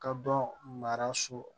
Ka dɔn mara so